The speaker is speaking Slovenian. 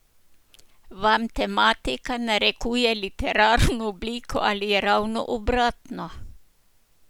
Vam tematika narekuje literarno obliko ali je ravno obratno?